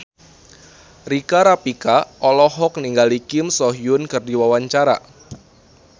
Rika Rafika olohok ningali Kim So Hyun keur diwawancara